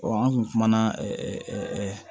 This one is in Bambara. an kun kumana